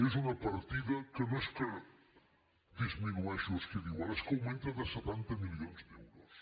és una partida que no és que disminueixi o es quedi igual és que augmenta de setanta milions d’euros